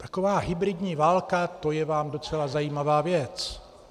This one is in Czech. Taková hybridní válka, to je vám docela zajímavá věc.